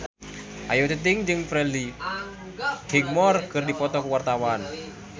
Ayu Ting-ting jeung Freddie Highmore keur dipoto ku wartawan